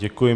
Děkuji.